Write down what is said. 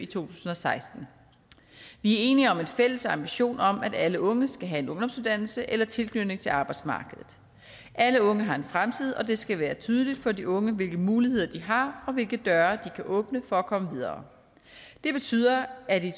tusind og seksten vi er enige om en fælles ambition om at alle unge skal have en ungdomsuddannelse eller tilknytning til arbejdsmarkedet alle unge har en fremtid og det skal være tydeligt for de unge hvilke muligheder de har og hvilke døre de kan åbne for at komme videre det betyder at i